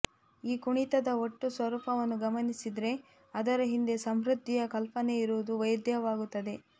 ಈ ಕುಣಿತದ ಒಟ್ಟು ಸ್ವರೂಪವನ್ನು ಗಮನಿಸಿದರೆ ಅದರ ಹಿಂದೆ ಸಮೃದ್ದಿಯ ಕಲ್ಪನೆಯಿರುವುದು ವೇದ್ಯವಾಗುತ್ತದೆ